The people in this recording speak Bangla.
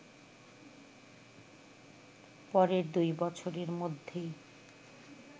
পরের দুই বছরের মধ্যেই